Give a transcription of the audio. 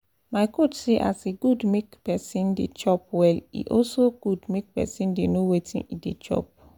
my coach say as e good make person dey chop well e also good make person dey know wetin e dey chop